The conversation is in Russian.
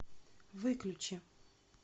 выключи